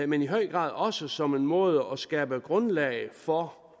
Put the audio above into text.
men i høj grad også som en måde at skabe grundlag for